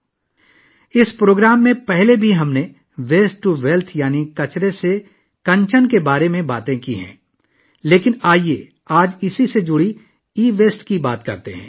اس سے پہلے بھی اس پروگرام میں ہم 'ویسٹ ٹو ویلتھ' یعنی 'کچرے سے کنچن' کے بارے میں بات کر چکے ہیں، لیکن آئیے، آج اس سے متعلق ای ویسٹ پر بات کرتے ہیں